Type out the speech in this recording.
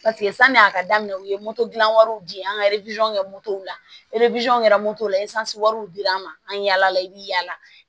sani a ka daminɛ u ye gilan wariw di yan an ka kɛ la kɛra wɛrɛw dir'an ma an yala i bi yaala